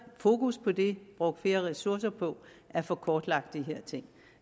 fokus på det brugt flere ressourcer på at få kortlagt de her ting